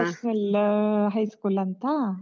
National High School ಅಂತ.